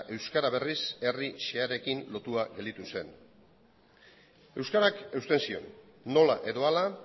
euskara berriz herri xehearekin lotua gelditu zen euskarak eusten zion nola edo hala